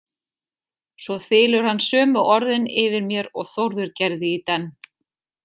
Svo þylur hann sömu orðin yfir mér og Þórður gerði í denn.